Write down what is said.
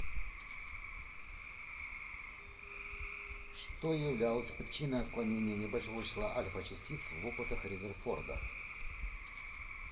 что являлось причиной отклонения небольшого числа альфа частиц в опытах резерфорда